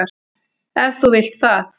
Ef þú vilt það.